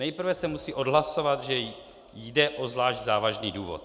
Nejprve se musí odhlasovat, že jde o zvlášť závažný důvod.